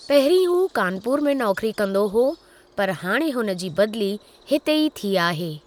पहिरीं हू कानपुर में नौकरी कंदो हुओ, पर हाणे हुन जी बदली हिते ई थी आहे।